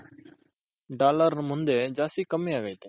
dollar ಮುಂದೆ ಜಾಸ್ತಿ ಕಮ್ಮಿ ಆಗೈತೆ.